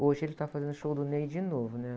Hoje ele está fazendo o show do Ney de novo, né?